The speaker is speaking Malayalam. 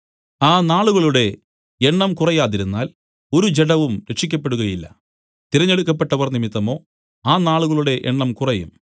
ആ നാളുകളുടെ എണ്ണം കുറയാതിരുന്നാൽ ഒരു ജഡവും രക്ഷിയ്ക്കപ്പെടുകയില്ല തിരഞ്ഞെടുക്കപ്പെട്ടവർ നിമിത്തമോ ആ നാളുകളുടെ എണ്ണം കുറയും